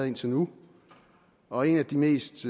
indtil nu og et af de mest